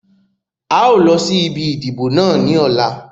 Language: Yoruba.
Áà ó lọ sí ibi ìdìbò náà ni ọ̀la.